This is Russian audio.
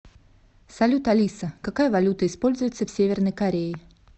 салют алиса какая валюта используется в северной корее